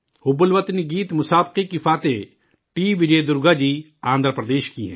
حب الوطنی کے گیت کے مقابلہ میں جیت حاصل کرنے والی ٹی وجے درگا جی آندھرا پردیش کی ہیں